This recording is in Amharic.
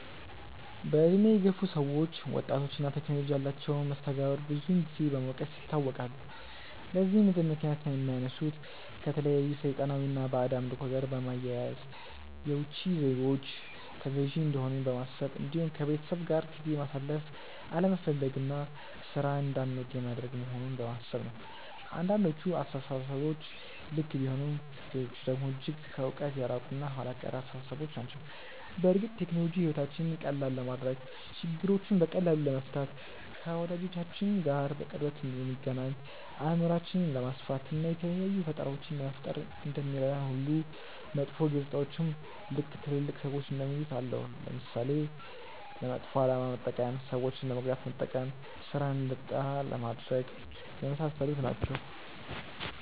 በእድሜ የገፉ ሰዎች ወጣቶች እና ቴክኖሎጂ ያላቸውን መስተጋብር ብዙን ጊዜ በመውቀስ ይታወቃሉ። ለዚህም እንደምክንያት የሚያነሱት ከተለያዩ ሰይጣናዊ እና ባዕድ አምልኮ ጋር በማያያዝ፣ የውቺ ዜጎች ተገዢ እንደሆንን በማሰብ እንዲሁም ከቤተሰብ ጋር ጊዜ ማሳለፍ አለመፈለግ እና ሥራን እንዳንወድ የሚያደርግ መሆኑን በማሰብ ነው። አንዳንዶቹ አስተሳሰቦች ልክ ቢሆኑም ሌሎቹ ደግሞ እጅግ ከእውነት የራቁ እና ኋላ ቀር አስተሳሰቦች ናቸው። በእርግጥ ቴክኖሎጂ ሕይወታችንን ቀላል ለማድረግ፣ ችግሮችን በቀላሉ ለመፍታት፣ ከወዳጆቻችን ጋር በቅርበት እንድንገናኝ፣ አእምሯችንን ለማስፋት፣ እና የተለያዩ ፈጠራዎችን ለመፍጠር እንደሚረዳን ሁሉ መጥፎ ገፅታዎችም ልክ ትልልቅ ሰዎች እንደሚሉት አለው። ለምሳሌ፦ ለመጥፎ አላማ መጠቀም፣ ሰዎችን ለመጉዳት መጠቀም፣ ስራን እንድንጠላ ማድረግ፣ የመሳሰሉት ናቸው።